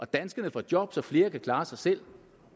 danskerne får job så flere kan klare sig selv